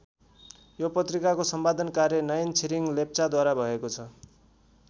यो पत्रिकाको सम्पादन कार्य नयन छिरिङ लेप्चाद्वारा भएको छ।